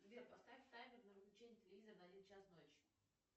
сбер поставь таймер на выключение телевизора на один час ночи